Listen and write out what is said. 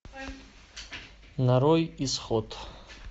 нарой исход